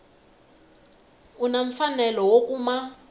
u na mfanelo wo kuma